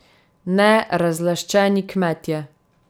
Ne, razlaščeni kmetje.